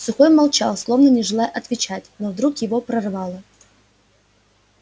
сухой молчал словно не желая отвечать но вдруг его прорвало